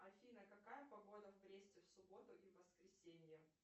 афина какая погода в бресте в субботу и в воскресенье